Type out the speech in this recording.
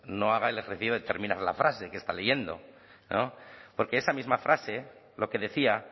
no haga el ejercicio de terminar la frase que está leyendo porque esa misma frase lo que decía